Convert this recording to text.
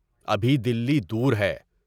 ابھی دلی دور ہے۔